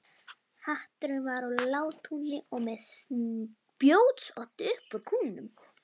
Hatturinn var úr látúni og með spjótsoddi upp úr kúfnum.